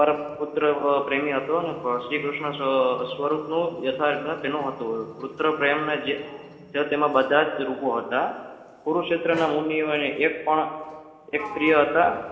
પુત્ર પ્રેમી હતો શ્રીકૃષ્ણ સ્વરૂપનું યથાર્ગના તેનું હતું પુત્ર પ્રેમના જે બધા જ રૂપો હતા કુરુક્ષેત્રના મૂલ્યોને એક પણ એક સ્ત્રી હતા.